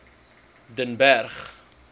den berg